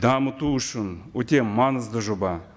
дамыту үшін өте маңызды жоба